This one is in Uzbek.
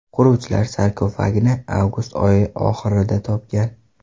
Quruvchilar sarkofagni avgust oyi oxirida topgan.